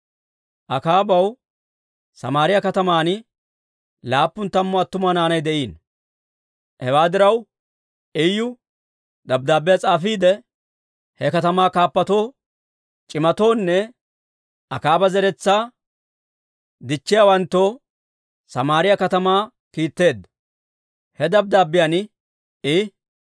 Akaabaw Samaariyaa kataman laappun tammu attuma naanay de'iino. Hewaa diraw Iyu dabddaabbiyaa s'aafiide, he katamaa kaappatoo, c'imatoonne Akaaba zeretsaa dichchiyaawanttoo Samaariyaa katamaa kiitteedda. He dabddaabbiyaan I,